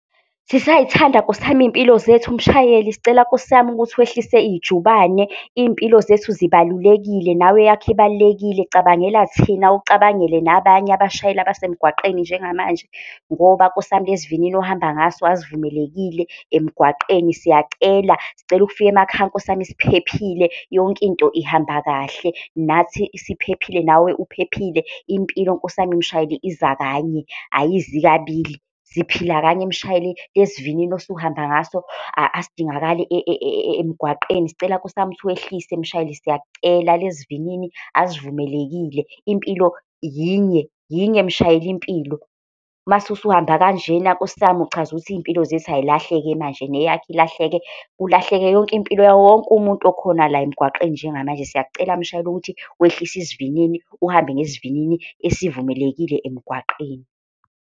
Sisay'thanda Nkosi yami iy'mpilo zethu mshayeli, sicela Nkosi yami ukuthi wehlise ijubane, iy'mpilo zethu zibalulekile nawe eyakho ibalulekile. Cabangela thina ucabangele nabanye abashayeli abasemgwaqeni njengamanje. Ngoba Nkosi yami lesi sivinini ohamba ngaso asivumelekile emgwaqeni. Siyacela sicela ukufika emakhaya Nkosi yami, siphephile, yonke into ihamba kahle, nathi siphephile nawe, uphephile. Impilo nkosi yami, mshayeli, iza kanye ayizi kabili, siphila kanye mshayeli lesi sivinini osuhamba ngaso asidingi akali emgwaqeni. Sicela Nkosi yami ukuthi wehlise mshayeli siyakucela, lesi sivinini asivumelekile, impilo yinye yinye mshayeli impilo. Mase usuhamba kanjena. Nkosi yami uchaza ukuthi iy'mpilo zethu ay'lahleke manje neyakho ilahleke, kulahleke yonke impilo yawowonke umuntu okhona la emgwaqeni. Njengamanje siyakucela umshayeli ukuthi wehlise isivinini, uhambe ngesivinini esivumelekile emgwaqeni.